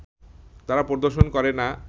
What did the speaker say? তারা প্রদর্শন করে না